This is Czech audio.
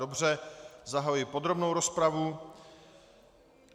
Dobře, zahajuji podrobnou rozpravu.